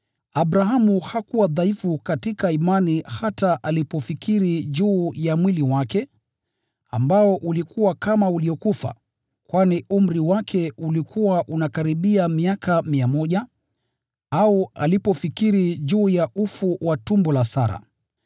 Abrahamu hakuwa dhaifu katika imani hata alipofikiri juu ya mwili wake, ambao ulikuwa kama uliokufa, kwani umri wake ulikuwa unakaribia miaka mia moja, au alipofikiri juu ya ufu wa tumbo la Sara.